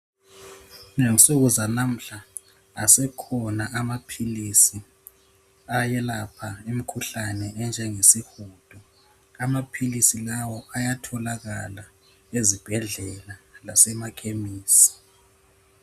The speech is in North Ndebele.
Ngensuku zanamuhla asekhona amaphilisi ayelapha imkhuhlane enjengesihudo. Amaphilisi lawo ayatholakala ezibhedlela lasemakhemisi.